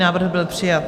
Návrh byl přijat.